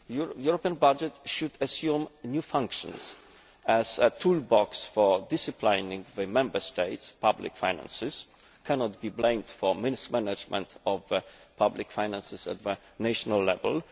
The European budget should assume new functions as a toolbox for disciplining the Member States' public finances, but it cannot be blamed for mismanagement of public finances at national level.